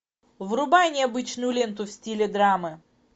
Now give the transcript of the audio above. врубай необычную ленту в стиле драмы